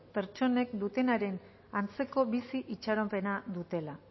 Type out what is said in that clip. pertsonek dutenaren antzeko bizi itxaropena dutela